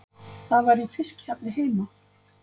Það var í fiskhjalli heima.